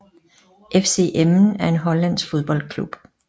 FC Emmen er en hollandsk fodboldklub